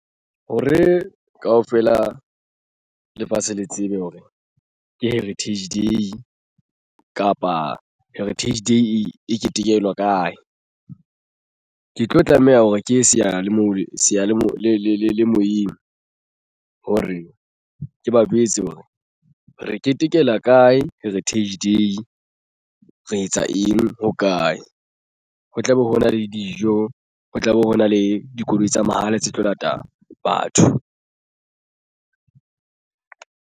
Hore kaofela lefatshe le tsebe hore ke Heritage Day kapa Heritage Day e ketekelwa kae ke tlo tlameha hore ke ye seyalemoyeng hore ke ba jwetse hore re ketekela kae Heritage Day re etsa eng hokae. Ho tlabe ho na le dijo ho tlabe ho na le dikoloi tsa mahala tse tlo lata batho.